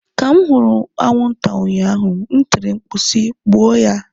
Ka m hụrụ anwụnta ụnyaahụ m tiri mkpu si "gbuo ya!"